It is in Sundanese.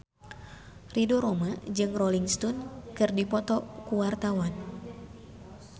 Ridho Roma jeung Rolling Stone keur dipoto ku wartawan